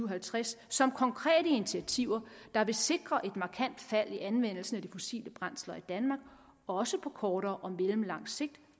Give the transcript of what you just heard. og halvtreds som konkrete initiativer der vil sikre et markant fald i anvendelsen af de fossile brændsler i danmark også på kortere og mellemlang sigt